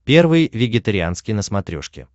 первый вегетарианский на смотрешке